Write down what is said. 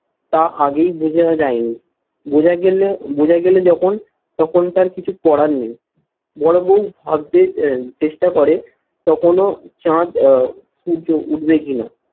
তা আগেই বোঝা যায়নি। বোঝা গেলে বোঝা গেলে যখন তখন তার কিছু করার নেই। বড় বৌ ভাবতে চেষ্টা করে তখনো চাঁদ আহ সূর্য উঠবে কিনা